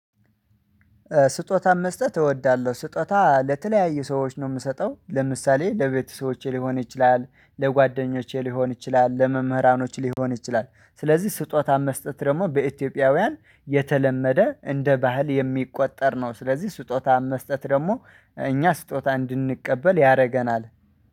ስጦታም መስጠት እወዳለሁ ስጦታ ለተለያዩ ሰዎች ነው የምሰጠው። ለምሳሌ ለቤተሰቦቼ ሊሆን ይችላል ለጓደኞቼ ሊሆን ይችላል ለመምህራኖች ሊሆን ይችላል። ስለዚህ ስጦታ መስጠት ደግሞ በኢትዮጵያውያን የተለመደ እንደ ባህል የሚቆጠር ነው። ስለዚህ ስጦታ መስጠት ደግሞ እኛ ስጦታ እንድንቀበል ያደርገናል።